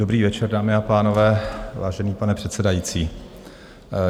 Dobrý večer, dámy a pánové, vážený pane předsedající.